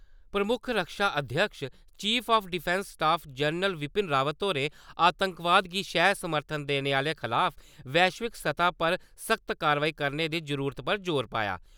प्रमुक्ख रक्षा अध्यक्ष chief of defence staff general Bipin Rawat होरें आतंकवाद गी शैह्-समर्थन देने आह्लें खलाफ वैश्विक सतह पर सख्त कार्यवाही करने दी जरूरत पर जोर पाया ।